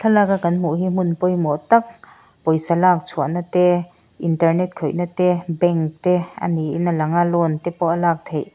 thlaklak a kan hmuh hi hmun pawimawh tak pawisa lak chhuah nate internet khawih nate bank te ani in alang a loan tepawh a lak theih--